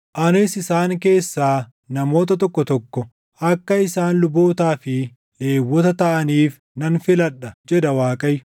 Anis isaan keessaa namoota tokko tokko akka isaan lubootaa fi Lewwota taʼaniif nan filadha” jedha Waaqayyo.